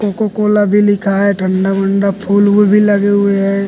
Cocoa Cola भी लिखा हे ठंडा उंडा फूल उल भी लगे हें।